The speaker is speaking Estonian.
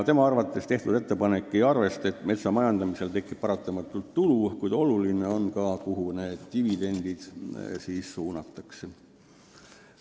Tema arvates ei arvesta tehtud ettepanek seda, et metsa majandamisel tekib paratamatult tulu, kuid oluline on ka see, kuhu dividendid suunatakse.